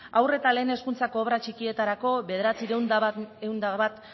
haur eta lehen hezkuntzako obrak txikietarako bederatziehun eta bat